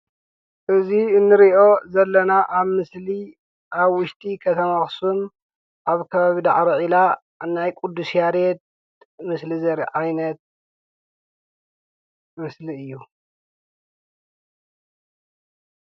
እዚ እንሪኦ ዘለና አብ ምሰሊ አብ ውሽጢ ከተማ አክሱም አብ ከባቢ ዳዕሮ ዒላ ናይ ቅዱስ ያሬድ ምስሊ ዘርኢ ዓይነት ምስሊ እዩ፡፡